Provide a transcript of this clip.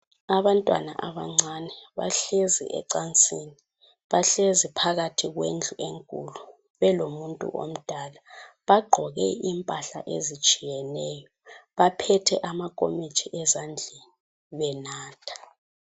Abantwana abancane bahlezi ecansini. Bahlezi phakathi kwendlu enkulu belomuntu omdala. Bagqoke impahla ezitshiyeneyo. Baphethe amakomitsho ezandleni, benatha.